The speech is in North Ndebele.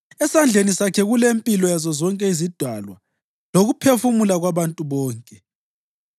Esandleni sakhe kulempilo yazo zonke izidalwa lokuphefumula kwabantu bonke.